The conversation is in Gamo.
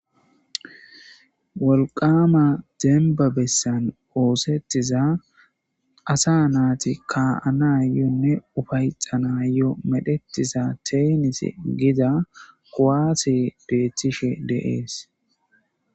wolqama dembabessan oosettiza asa naati ka7anayonne ufayxanayo medhetiza teenis gida kowaase beettishe deees